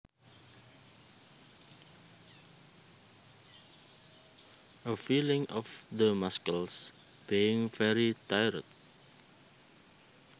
A feeling of the muscles being very tired